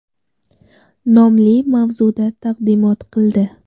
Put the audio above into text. nomli mavzuda taqdimot qildi.